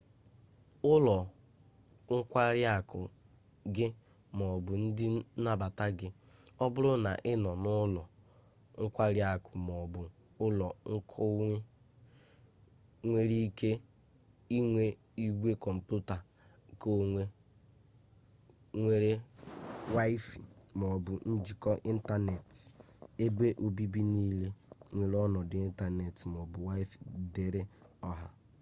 ụlọ nkwari akụ gị maọbụ ndị nnabata gị ọ bụrụ na ị nọ n'ụlọ nkwari akụ maọbu ụlọ konwe nwere ike inwe igwe kọmputa keonwe nwere waịfaị maọbụ njikọ ịntaneetị ebe obibi niile nwere ọnọdụ ịntaneetị maọbụ waịfaị dịịrị ọha